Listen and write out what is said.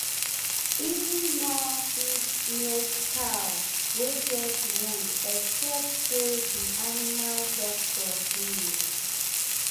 E nor fit milk cow wey get wound except say d animal doctor gree.